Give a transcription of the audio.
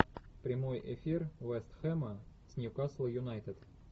прямой эфир вест хэма с ньюкасл юнайтед